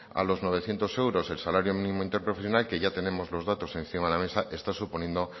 a los novecientos euros del salario mínimo interprofesional que ya tenemos los datos encima de la mesa está suponiendo